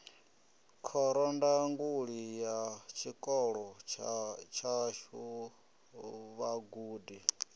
khorondanguli ya tshikolo tshashu vhagudi